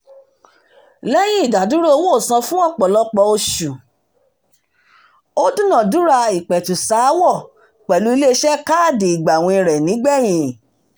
lẹ́yìn ìdádúró owóòsan fún ọ̀pọ̀lọpọ̀ oṣù ó dúnadúrà ìpẹ̀tùsááwọ̀ pẹ̀lú ilé iṣẹ́ káàdì ìgbàwìn rẹ̀ nígbẹ̀yìn